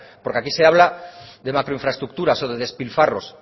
porque aquí se habla de macro infraestructuras o de despilfarros